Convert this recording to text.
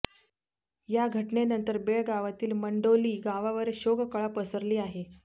या घटनेनंतर बेळगावातील मंडोळी गावावर शोककळा पसरली आहे